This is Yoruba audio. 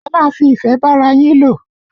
Ẹ máa fi ìfẹ́ bára yín lò!